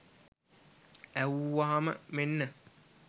ඇහුවාම මෙන්න